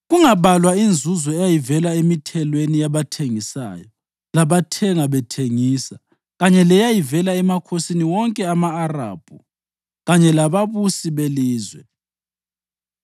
kungabalwa inzuzo eyayivela emithelweni yabathengisayo labathenga bethengisa kanye leyayivela emakhosini wonke ama-Arabhu kanye lababusi belizwe.